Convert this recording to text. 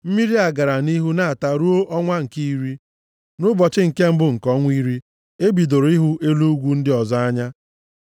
Mmiri a gara nʼihu na-ata ruo ọnwa nke iri. Nʼụbọchị nke mbụ nke ọnwa iri, e bidoro ịhụ elu ugwu ndị ọzọ anya.